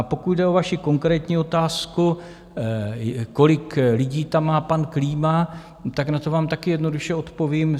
A pokud jde o vaši konkrétní otázku, kolik lidí tam má pan Klíma, tak na to vám také jednoduše odpovím.